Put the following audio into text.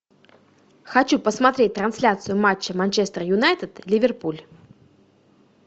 хочу посмотреть трансляцию матча манчестер юнайтед ливерпуль